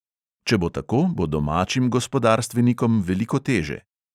Če bo tako, bo domačim gospodarstvenikom veliko teže.